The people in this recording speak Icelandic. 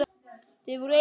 Þau voru eitt.